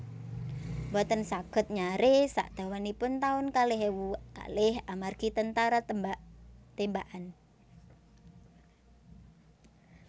Mboten saged nyare sak dawanipun taun kalih ewu kalih amargi tentara tembak tembakan